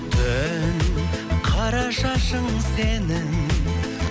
түн қара шашың сенің